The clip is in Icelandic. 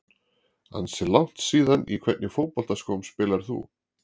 Ansi langt síðan Í hvernig fótboltaskóm spilar þú?